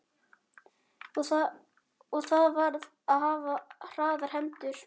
Og þar varð að hafa hraðar hendur.